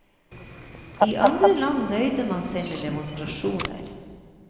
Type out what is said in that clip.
I andre land nøyde man seg med demonstrasjoner.